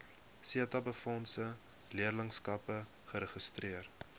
setabefondse leerlingskappe geregistreer